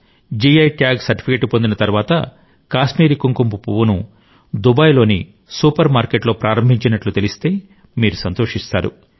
GI tag certificate పొందిన తరువాత కాశ్మీరీ కుంకుమ పువ్వును దుబాయ్ లోని సూపర్ మార్కెట్లో ప్రారంభించినట్లు తెలిస్తే మీరు సంతోషిస్తారు